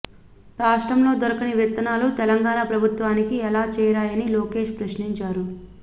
రాష్ట్రంలో దొరకని విత్తనాలు తెలంగాణ ప్రభుత్వానికి ఎలా చేరాయని లోకేశ్ ప్రశ్నించారు